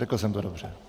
Řekl jsem to dobře?